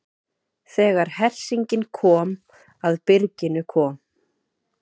Þegar hersingin kom að byrginu kom